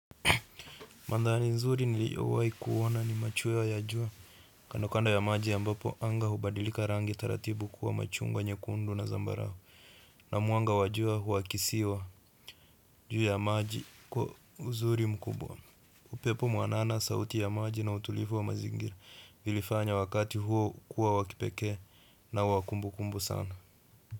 Mandhari nzuri niliowahi kuona ni machweo ya jua. Kando kando ya maji ambapo, anga hubadilika rangi taratibu kuwa machungwa nyekundu na zambarau. Na mwanga wa jua huakisiwa juu ya maji kwa uzuri mkubwa. Upepo mwanana sauti ya maji na utulivu wa mazingira vilifanya wakati huo kuwa wa kipekee na wa kumbukumbu sana.